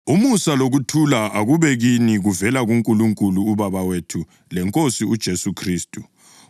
Umusa lokuthula akube kini kuvela kuNkulunkulu uBaba wethu leNkosini uJesu Khristu,